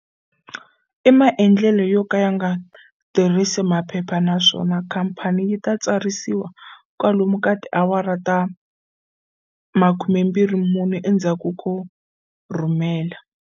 I mandlelo yo ka ya nga tirhisi maphepha naswona khamphani yi ta tsarisiwa kwalomu ka tiawara ta 24 endzhaku ko rhumela.